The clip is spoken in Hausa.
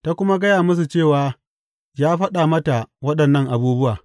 Ta kuma gaya musu cewa ya faɗa mata waɗannan abubuwa.